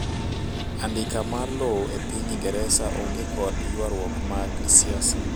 andika mar lowo e piny ingereza onge kod yuaruok mag siasa